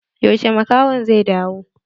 Yaushe makahon zai dawo?